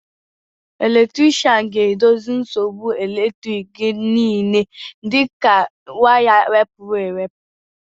Elektrikshan ga-edozi nsogbu elektriki gị niile dịka waya wepụrụ ewepụ